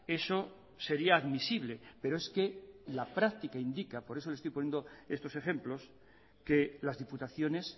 eso sería admisible pero es que la práctica indica por eso le estoy poniendo estos ejemplos que las diputaciones